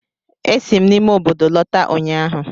Esi m n'ime obodo lọta ụnyaahụ